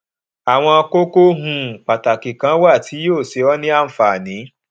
àwọn kókó um pàtàkì kan wà tí yóò ṣe ọ ní ànfààní